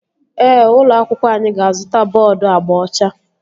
Ee, ụlọ akwụkwọ anyị ga-azụta bọọdu agba ọcha